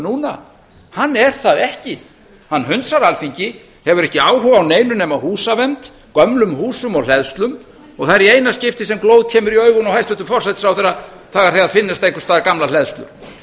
núna hann er það ekki hann hunsar alþingi hefur ekki áhuga á neinu nema húsavernd gömlum húsum og hleðslum og það er í eina skiptið sem glóð kemur í augun á hæstvirtum forsætisráðherra það er þegar finnast einhvers staðar gamlar hleðslum